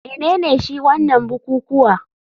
Menene shi wanan bukukuwa,